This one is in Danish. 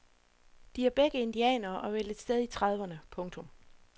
De er begge indianere og vel et sted i trediverne. punktum